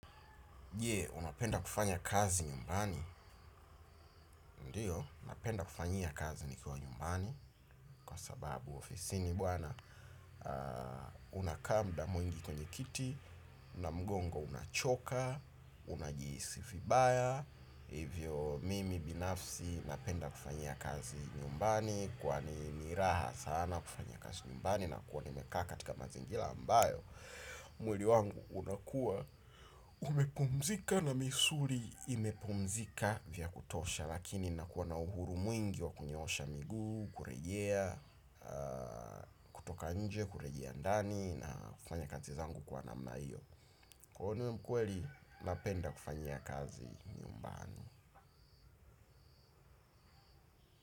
Je, unapenda kufanya kazi nyumbani? Ndio, napenda kufanyia kazi nikiwa nyumbani, kwa sababu ofisini bwana unakaa muda mwingi kwenye kiti, na mgongo unachoka, unajihisi vibaya, hivyo mimi binafsi napenda kufanyia kazi nyumbani, kwani ni raha sana kufanyia kazi nyumbani, nakua nimekaa katika mazingira ambayo, mwili wangu unakua umepumzika na misuli imepumzika vya kutosha lakini nakua na uhuru mwingi wa kunyoosha miguu, kurejea toka nje kurejea ndani na kufanya kazi zangu kuwa namna hiyo. Kuona hiyo ukweli, napenda kufanyia kazi nyumbani.